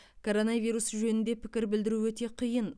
коронавирус жөнінде пікір білдіру өте қиын